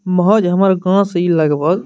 महज हमर गांव से इ लगभग --